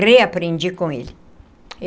Reaprendi com ele.